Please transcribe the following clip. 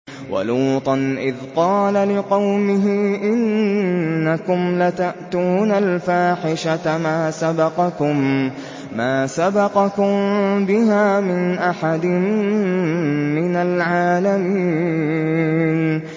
وَلُوطًا إِذْ قَالَ لِقَوْمِهِ إِنَّكُمْ لَتَأْتُونَ الْفَاحِشَةَ مَا سَبَقَكُم بِهَا مِنْ أَحَدٍ مِّنَ الْعَالَمِينَ